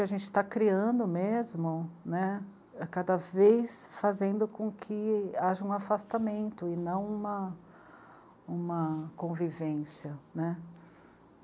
E a gente está criando mesmo, né, cada vez fazendo com que haja um afastamento e não uma, uma convivência, né.